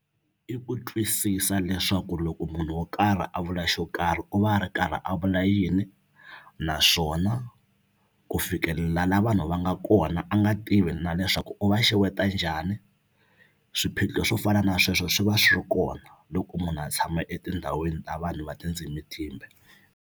I ku twisisa leswaku loko munhu wo karhi a vula xo karhi u va a ri karhi a vula yini naswona ku fikelela la vanhu va nga kona a nga tivi na leswaku u va xeweta njhani swiphiqo swo fana na sweswo swi va swi ri kona loko munhu a tshama etindhawini ta vanhu va tindzimi timbe.